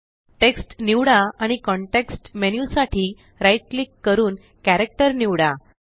text निवडा आणि context menu साठी right क्लिक करून कॅरेक्टर निवडा